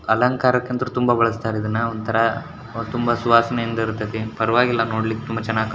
ಅಲಂಕಾರಕ್ಕೆ ಅಂತ ತುಂಬಾ ಬಳಸ್ತಾರೆ ಇದನ್ನ ಒಂತರ ಅದು ತುಂಬಾ ಸುವಾಸನೆಯಿಂದ ಇರತೈತಿ ಪರವಾಗಿಲ್ಲ ನೋಡ್ಲಿಕ್ಕೆ ತುಂಬಾ ಚೆನ್ನಾಗಿ ಕಾಣಿಸತೈತಿ.